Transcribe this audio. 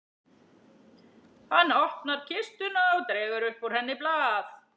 Hann opnar kistuna og dregur upp úr henni blað.